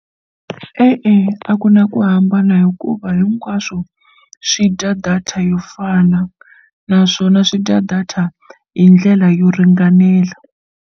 E-e, a ku na ku hambana hikuva hinkwaswo swi dya data yo fana naswona swi dya data hi ndlela yo ringanela.